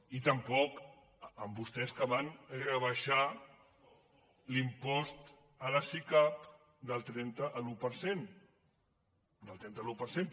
i tampoc amb vostès que van rebaixar l’impost a les sicav del trenta a l’un per cent del trenta a l’un per cent